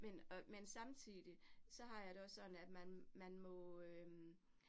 Men øh men samtidig, så har jeg det også sådan, at man man må øh